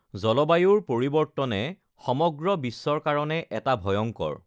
জলবায়ুৰ পৰিৱৰ্তনে সমগ্ৰ বিশ্বৰ কাৰণে এটা ভয়ংকৰ